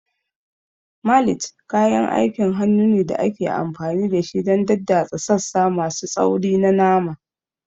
Mallet kayan aikin hannu ne da ake amfani da shi don daddatsa sassa masu tsauri na nama.